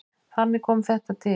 Þannig kom þetta til.